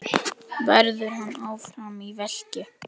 Verður hann áfram í Fylki?